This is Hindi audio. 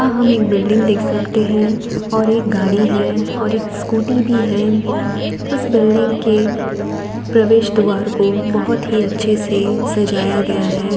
आह हम एक बिल्डिंग देख सकते हैं और एक गाड़ी है और स्कूटी भी है| उस बिल्डिंग के प्रवेश द्वार को बहोत ही अच्छे से सजाया गया है।